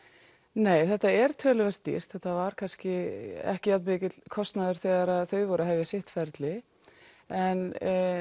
nei þetta er töluvert dýrt og þetta var kannski ekki jafn mikill kostnaður þegar þau voru að hefja sitt ferli en